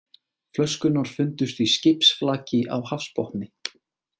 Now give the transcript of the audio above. Flöskurnar fundust í skipsflaki á hafsbotni